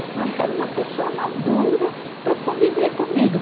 Eu não, eu quero uma pessoa madura para conviver comigo.